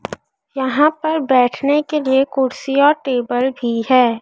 यहां पर बैठने के लिए कुर्सीया और टेबल भी हैं।